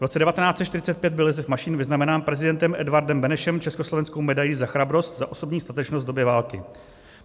V roce 1945 byl Josef Mašín vyznamenán prezidentem Edvardem Benešem československou medailí Za chrabrost za osobní statečnost v době války.